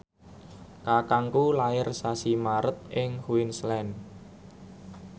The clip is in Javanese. kakangku lair sasi Maret ing Queensland